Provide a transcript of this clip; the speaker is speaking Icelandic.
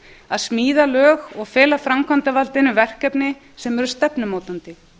að smíða lög og fela framkvæmdarvaldinu verkefni sem eru stefnumótandi